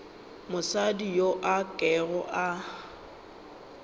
mosadi yo a kego a